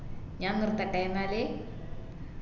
ഞാൻ നിർത്തട്ടെ ന്നാല്